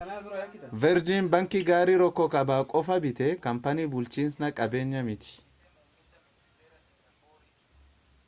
veerjin baankii gaarii' rook kaabaa qofa bite kaampaanii bulchiinsa qabeenyaa miti